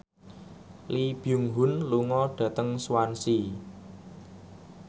Lee Byung Hun lunga dhateng Swansea